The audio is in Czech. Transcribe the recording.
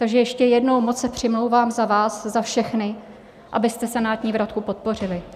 Takže ještě jednou, moc se přimlouvám za vás za všechny, abyste senátní vratku podpořili.